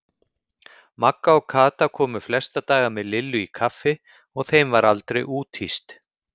Magga og Kata komu flesta daga með Lillu í kaffi og þeim var aldrei úthýst.